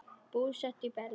Búsett í Berlín.